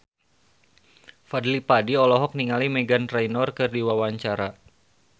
Fadly Padi olohok ningali Meghan Trainor keur diwawancara